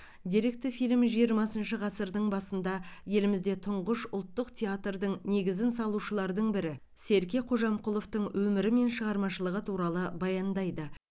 деректі фильм жиырмасыншы ғасырдың басында елімізде тұңғыш ұлттық театрдың негізін салушылардың бірі серке қожамқұловтың өмірі мен шығармашылығы туралы баяндайды